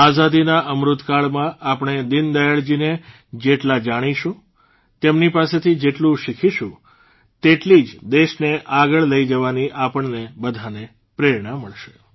આઝાદીના અમૃતકાળમાં આપણે દીનદયાળજીને જેટલા જાણીશું તેમની પાસેથી જેટલું શીખીશું તેટલી જ દેશને આગળ લઇ જવાની આપણને બધાને પ્રેરણા મળશે